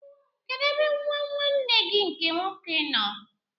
Kedụ ebe nwa nwanne gị nke nwoke nọ?